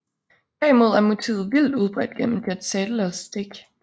Derimod er motivet vidt udbredt gennem Jan Sadelers stik